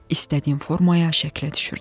İstədiyim formaya, şəklə düşürdü.